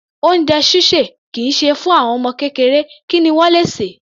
Oúnjẹ ṣíṣè kì í ṣe fún àwọn ọmọ kékeré, kí ni wọ́n le sè?